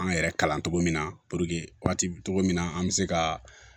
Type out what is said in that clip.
An yɛrɛ kalan cogo min na puruke waati min na an bɛ se ka